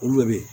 Olu bɛ ye